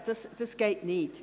Das geht nicht.